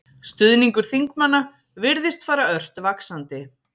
Stuðningur þingmanna virðist fara ört vaxandi